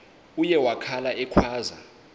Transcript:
uye wakhala ekhwaza